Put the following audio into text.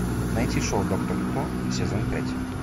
найти шоу доктор кто сезон пять